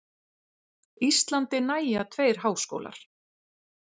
Íslandi nægja tveir háskólar